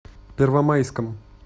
первомайском